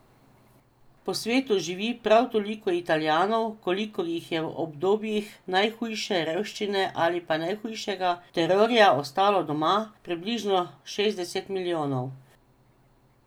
Po svetu živi prav toliko Italijanov, kolikor jih je v obdobjih najhujše revščine ali pa najhujšega terorja ostalo doma, približno šestdeset milijonov.